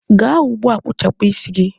gaa ugbua kpụchapụ isi gị!.